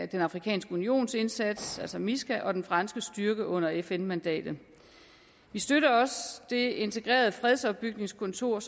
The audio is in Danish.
den afrikanske unions indsats altså misca og den franske styrke under fn mandatet vi støtter også det integrerede fredsopbygningskontor